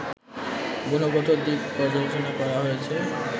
গুণগত দিক পর্যালোচনা করা হয়েছে